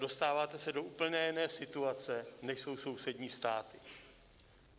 Dostáváte se do úplně jiné situace, než jsou sousední státy.